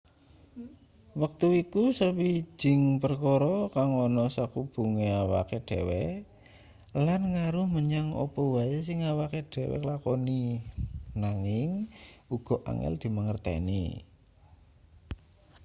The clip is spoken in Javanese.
wektu iku sawijing perkara kang ana sakubunge awake dhewe lan ngaruh menyang apa wae sing awake dhewe lakoni nanging uga angel dimangerteni